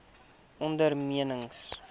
ondernemings